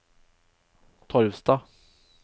Torvastad